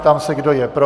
Ptám se, kdo je pro.